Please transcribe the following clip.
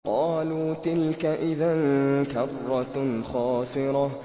قَالُوا تِلْكَ إِذًا كَرَّةٌ خَاسِرَةٌ